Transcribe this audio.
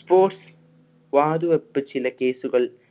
sports വാതുവെപ്പ് ചില case കൾ